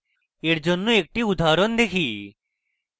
এর জন্য একটি উদাহরণ দেখি